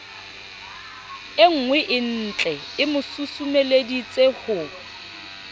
e nngweentlee mo susumeleditse ho